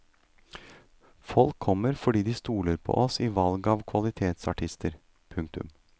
Folk kommer fordi de stoler på oss i valg av kvalitetsartister. punktum